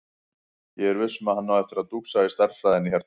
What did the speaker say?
Ég er viss um að hann á eftir að dúxa í stærðfræðinni hérna.